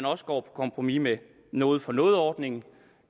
også på kompromis med noget for noget ordningen